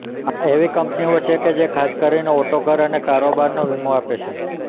આ એવી કંપનીઓ છે કે જે ખાસ કરીને ઓટો ઘર અને કારોબારનો વીમો આપે છે